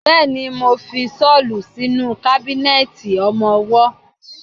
Bẹ́ẹ̀ni, mo fi ṣọ́lù sínú kábínẹ̀tì ọmọwọ́.